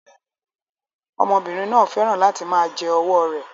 Ọmọbìnrin náà fẹ́ràn láti máa jẹ ọwọ́ rẹ̀